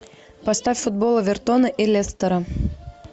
поставь футбол эвертона и лестера